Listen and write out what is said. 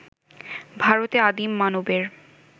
ভারতে আদিম মানবের